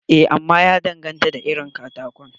Eh, amma ya danganta da irin katakon.